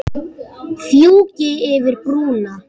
Fjúki yfir brúna.